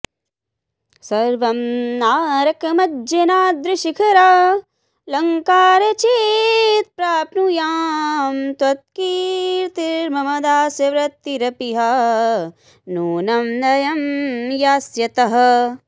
सर्वं नारकमञ्जनाद्रिशिखरालङ्कार चेत्प्राप्नुयां त्वत्कीर्तिर्मम दास्यवृत्तिरपि हा नूनं लयं यास्यतः